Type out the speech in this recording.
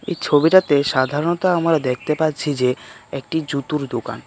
এই ছবিটাতে সাধারণত আমরা দেখতে পাচ্ছি যে একটি জুতোর দোকান .